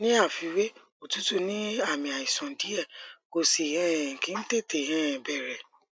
ní àfiwé òtútù ní àmì àìsàn díẹ kò sì um kí ń tètè um bẹrẹ